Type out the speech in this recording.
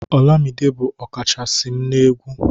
olamide bu ọkachasi m egwu